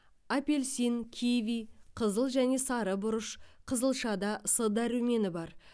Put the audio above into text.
апельсин киви қызыл және сары бұрыш қызылшада с дәрумені бар